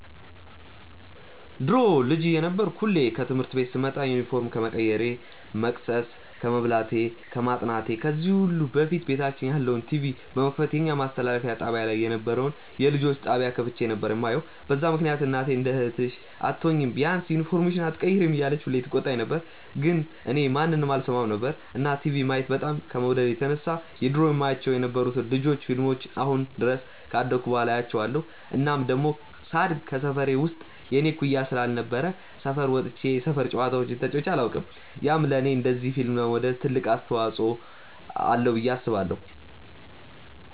ድሮ ልጅ እየነበርኩ ሁሌ ከትምህርት ቤት ስመጣ ዩኒፎርም ከመቀየሬ፣ መቅሰስ ከመብላቴ፣ ከማጥናቴ ከዚህ ሁሉ በፊት ቤታችን ያለውን ቲቪ በመክፈት የኛ ማስተላለፊያ ጣብያ ላይ የነበረውን የልጆች ጣብያ ከፍቼ ነበር የማየው፤ በዛ ምክንያት እናቴ እንደ እህትሽ አትሆኚም፤ ቢያንስ ዩኒፎርምሽን ኣትቀይሪም እያለች ሁሌ ትቆጣኝ ነበር ግን እኔ ማንንም አልሰማም ነበር። እና ቲቪ ማየት በጣም ከመውደዴ የተነሳ የድሮ የማያቸው የነበሩትን የ ልጆች ፊልሞችን አሁን ድረስ ካደኩ በኋላ አያቸዋለው። እናም ደሞ ሳድግ ከሰፈሬ ውስጥ የኔ እኩያ ስላልነበረ ሰፈር ወጥቼ የሰፈር ጨዋታዎችን ተጫዉቼ ኣላውቅም፤ ያም ለኔ እንደዚ ፊልም ለመውደድ ትልቅ አስተዋፅዎ አለው ብዬ አስባለው።